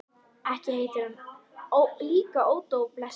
Ekki heitir hann líka Ódó, blessað barnið.